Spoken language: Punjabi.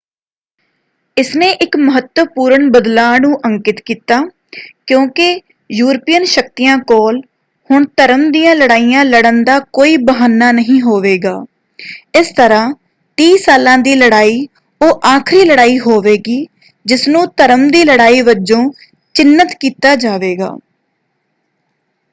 ਇਸਨੇ ਇੱਕ ਮਹੱਤਵਪੂਰਨ ਬਦਲਾਅ ਨੂੰ ਅੰਕਿਤ ਕੀਤਾ ਕਿਉਂਕਿ ਯੂਰਪੀਅਨ ਸ਼ਕਤੀਆਂ ਕੋਲ ਹੁਣ ਧਰਮ ਦੀਆਂ ਲੜਾਈਆਂ ਲੜ੍ਹਨ ਦਾ ਕੋਈ ਬਹਾਨਾ ਨਹੀਂ ਹੋਵੇਗਾ। ਇਸ ਤਰ੍ਹਾਂ ਤੀਹ ਸਾਲਾਂ ਦੀ ਲੜਾਈ ਉਹ ਆਖਰੀ ਲੜਾਈ ਹੋਵੇਗੀ ਜਿਸਨੂੰ ਧਰਮ ਦੀ ਲੜਾਈ ਵਜੋਂ ਚਿਨ੍ਹਤ ਕੀਤਾ ਜਾਵੇਗਾ।